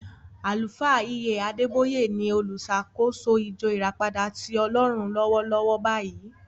Àlùfáà E.A Adeboye ni oluṣàkóso ìjọ ìràpadà tí Ọlọ́run lọ́wọ́lọ́wọ́ báyìí.